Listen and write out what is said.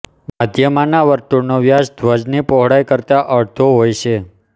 મધ્યમાંના વર્તુળનો વ્યાસ ધ્વજની પહોળાઈ કરતાં અડધો હોય છે